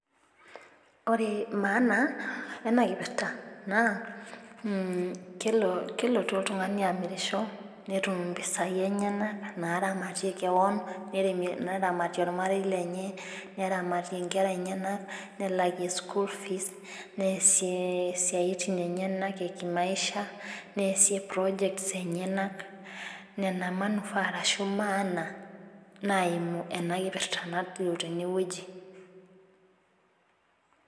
Ore maana ena kipirta. naa kelotu oltungani aamirisho nemir mpisai enyenak. naaramatie kewon. neramat olmarei, lenye. neramatoe nkera enyenak. nelakie school fees neesie siatin enyenak e kimaisha. neesie projects enyenak. ina maana nayau ena kipirta nalio tene wueji